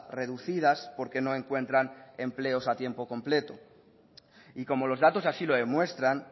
reducidas porque no encuentran empleos a tiempo completo y como los datos así lo demuestran